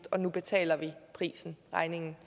og nu betaler vi regningen